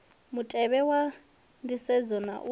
mutevhe wa nisedzo na u